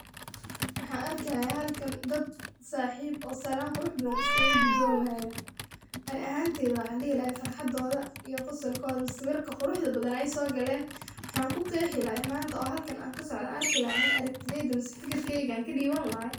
Wxan arkihaya halkan dad saxip oo salan badan iskaga gudaman ani ahanteyda wxa dihi laha farxadoda iyo qosolkoda mise sawirka quruxda badan aysogalen wxan ku qexi laha manta oo halkan an kasocda an arki laha ani aragtideyda mise fikirkeyga an kadipan laha.